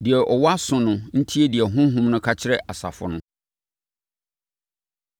Deɛ ɔwɔ aso no ntie deɛ Honhom no ka kyerɛ asafo no.